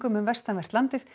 um vestanvert landið